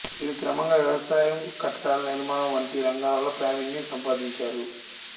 వీరు క్రమంగా వ్యవసాయం కట్టడాల నిర్మాణం వంటి రంగాల్లో ప్రావీణ్యం సంపాదించారు